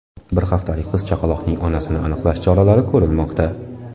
Bir haftalik qiz chaqaloqning onasini aniqlash choralari ko‘rilmoqda.